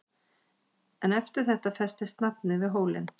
En eftir þetta festist nafnið við hólinn.